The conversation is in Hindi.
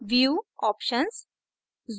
view options